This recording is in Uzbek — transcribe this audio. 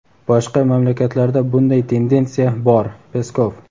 boshqa mamlakatlarda bunday tendentsiya bor – Peskov.